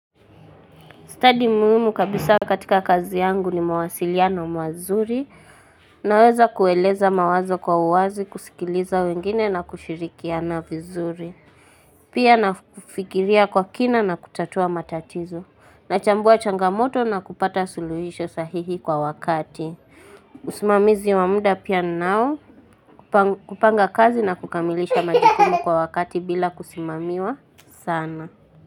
Stadi muhimu kabisa katika kazi yangu ni mawasiliano mazuri, naweza kueleza mawazo kwa uwazi, kusikiliza wengine na kushirikiana vizuri. Pia na kufikiria kwa kina na kutatua matatizo, nachambua changamoto na kupata suluhisho sahihi kwa wakati. Usimamizi wa muda pia ninao kupanga kazi na kukamilisha majukumu kwa wakati bila kusimamiwa sana.